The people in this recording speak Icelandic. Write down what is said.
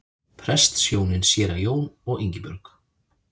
Prestshjónin séra Jón og Ingibjörg